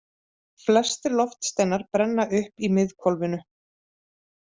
Flestir loftsteinar brenna upp í miðhvolfinu.